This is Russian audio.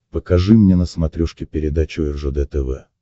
покажи мне на смотрешке передачу ржд тв